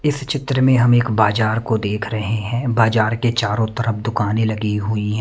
इस चित्र में हम एक बाजार को देख रहे हैं बाजार के चारों तरफ दुकानें लगी हुई ।